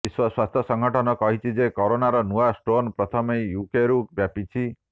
ବିଶ୍ୱ ସ୍ୱାସ୍ଥ୍ୟ ସଂଗଠନ କହିଛି ଯେ କରୋନାର ନୂଆ ଷ୍ଟ୍ରେନ୍ ପ୍ରଥମେ ୟୁକେରୁ ବ୍ୟାପିଛି